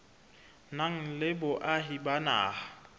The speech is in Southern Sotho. nang le boahi ba naha